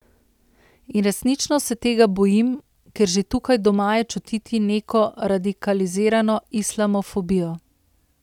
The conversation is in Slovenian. In resnično se tega bojim, ker že tukaj doma je čutiti neko radikalizirano islamofobijo.